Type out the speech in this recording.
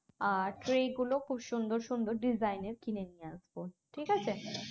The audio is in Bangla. আর tray গুলো খুব সুন্দর সুন্দর design এর কিনে নিয়ে আসব ঠিক আছে